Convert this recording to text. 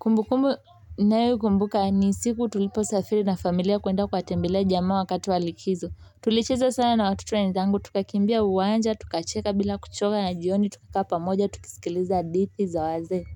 Kumbukumbu ninayo kumbuka ni siku tuliposafiri na familia kuenda kuwatembelea jamaa wakati wa likizo tulicheza sana na watoto wenzangu tukakimbia uwanja tukacheka bila kuchoka na jioni tukakaa pamoja tukisikiliza hadithi za wazee